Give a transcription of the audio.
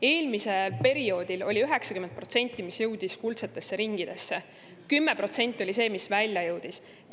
Eelmisel perioodil 90% kuldsetesse ringidesse, 10% oli see, mis väljapoole.